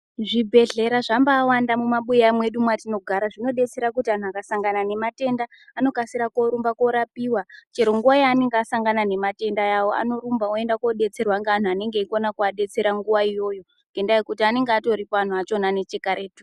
Zvibhedhlera zvambawanda mumabuya mwedu mwetinogara. Zvinodetsera kuti antu akasangana nematenda anokasira korumba korapiwa chero nguwa yaanenge asangana nematenda awo, anorumba oenda kudetserwa ngaantu anenge eikona kuvabetsera nguwa iyoyo ngenyaa yekuti anenge atoripo antu achona nechekaretu.